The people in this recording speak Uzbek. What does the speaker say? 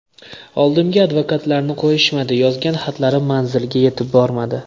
Oldimga advokatlarni qo‘yishmadi, yozgan xatlarim manziliga yetib bormadi.